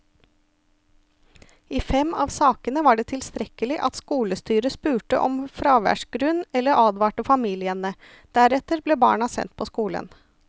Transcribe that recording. I fem av sakene var det tilstrekkelig at skolestyret spurte om fraværsgrunn eller advarte familiene, deretter ble barna sendt på skolen.